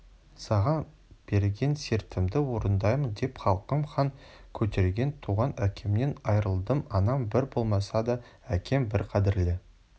саған берген сертімді орындаймын деп халқым хан көтерген туған әкемнен айырылдым анам бір болмаса да әкем бір қадірлі